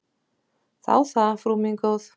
Þá það, frú mín góð.